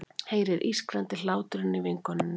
Heyrir ískrandi hláturinn í vinkonunni.